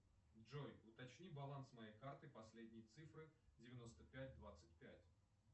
джой уточни баланс моей карты последние цифры девяносто пять двадцать пять